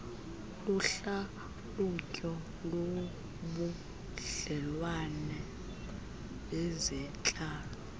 luhlalutyo lobudlelwane bezentlalo